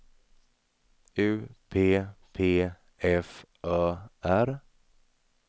U P P F Ö R